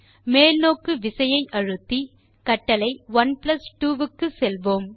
மேல் நோக்கு விசையை அழுத்தி கட்டளை 12 க்கு செல்வோம்